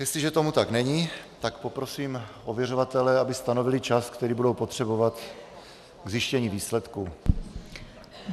Jestliže tomu tak není, tak poprosím ověřovatele, aby stanovili čas, který budou potřebovat k zjištění výsledků.